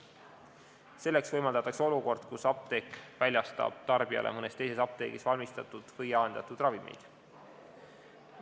Selleks võimaldatakse olukord, kus apteek väljastab tarbijale mõnes teises apteegis valmistatud või jaendatud ravimeid.